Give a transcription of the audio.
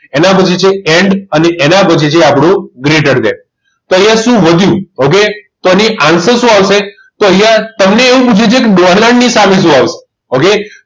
એના પછી છે end અને એના પછી છે આપણું greater then તો અહીંયા શું વધ્યું okay તો આનો answer શું આવશે તો અહીંયા તમને એવું પૂછ્યું છે કે dollar ની સામે શું આવશે okay